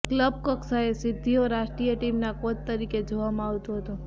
club કક્ષાએ સિદ્ધિઓ રાષ્ટ્રીય ટીમના કોચ તરીકે જોવામાં આવતું હતું